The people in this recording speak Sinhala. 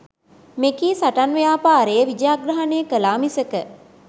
මෙකී සටන් ව්‍යාපාරය විජයග්‍රහණය කළා මිසක